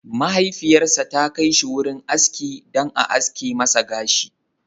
Mahaifiyarsa ta kai shi wurin aski dan a aske masa gashi.